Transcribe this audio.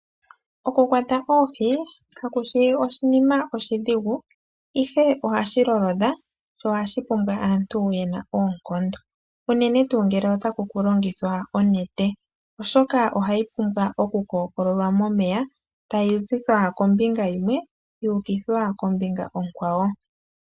Oku kwata oohi kakushi oshinima oshidhigu, ihe ohashi lolodha, sho ohashi pumbwa aantu yena oonkondo, unene tuu ngele otaku longithwa onete, oshoka ohayi pumbwa oku kookololwa momeya tayi kuthwa kombinga yimwe, yu ukithwa kombinga onkwawo.